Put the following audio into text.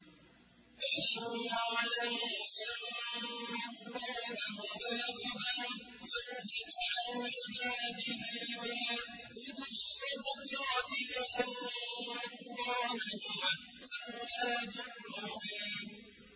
أَلَمْ يَعْلَمُوا أَنَّ اللَّهَ هُوَ يَقْبَلُ التَّوْبَةَ عَنْ عِبَادِهِ وَيَأْخُذُ الصَّدَقَاتِ وَأَنَّ اللَّهَ هُوَ التَّوَّابُ الرَّحِيمُ